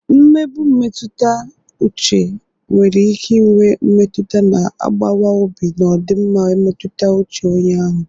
Nmegbu mmetụta uche nwere ike inwe mmetụta na-agbawa obi na ọdịmma mmetụta uche onye ahụ.